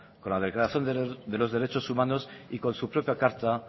con la declaración de los derechos humanos y con su propia carta